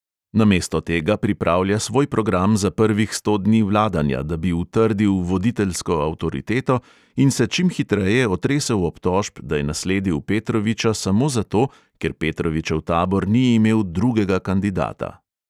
Namesto tega pripravlja svoj program za prvih sto dni vladanja, da bi utrdil voditeljsko avtoriteto in se čim hitreje otresel obtožb, da je nasledil petroviča samo zato, ker petrovičev tabor ni imel drugega kandidata.